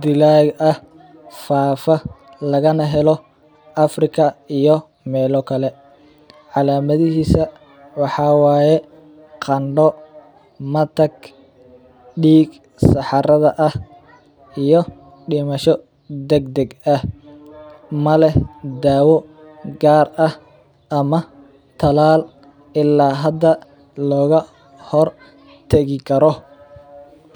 dilaa ah faafa lagana helo Africa iyo meelo kale, calamadihiisa waxaa waye qando, matag, diig saxarada ah iyo dimasho dagdag ah, ma leh daawo gaar ah ama talaal ila hada looga hor tagi Karo.